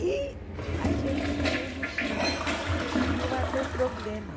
E a gente saiu no Chile e ia ter problemas.